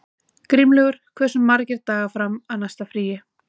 Grímlaugur, hversu margir dagar fram að næsta fríi?